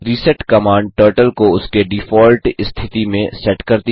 reset command turtle को उसके default स्थिति में सेट करती है